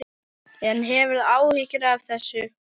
En hefurðu áhyggjur af þessu?